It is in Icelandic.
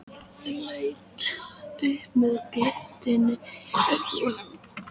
Leit svo upp með glettni í augunum.